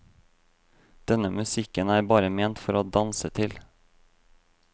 Denne musikken er bare ment for å danse til.